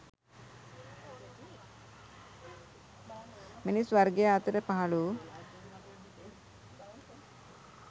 මිනිස් වර්ගයා අතර පහළ වූ